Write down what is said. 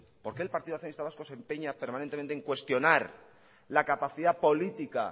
por qué el partido nacionalista vasco se empeña permanentemente en cuestionar la capacidad política